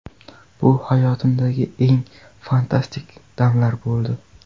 Bu hayotimdagi eng fantastik damlar bo‘ldi.